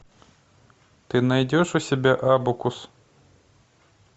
ты найдешь у себя абакус